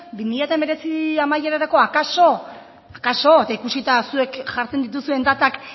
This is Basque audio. bi mila hemeretzi amaierarako akaso akaso eta ikusita zuek jartzen dituzuen datak